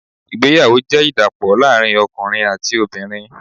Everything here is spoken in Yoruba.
Ìgbéyàwó jẹ́ ìdàpọ̀ láàrín ọkùnrin àti obìnrin.